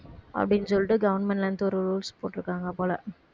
அப்படின்னு சொல்லிட்டு government ல இருந்து ஒரு rules போட்டிருக்காங்க போல